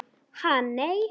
Ha nei.